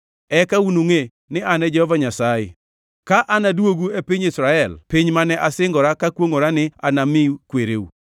Eka unungʼe ni An e Jehova Nyasaye, ka anaduogu e piny Israel, piny mane asingora kakwongʼora ni anami kwereu.